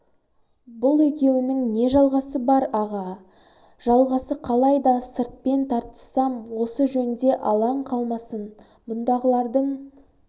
бұл екеуінің не жалғасы бар аға жалғасы қалай да сыртпен тартыссам осы жөнде алаң қалмасын бұндағылардың